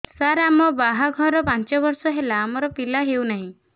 ସାର ଆମ ବାହା ଘର ପାଞ୍ଚ ବର୍ଷ ହେଲା ଆମର ପିଲା ହେଉନାହିଁ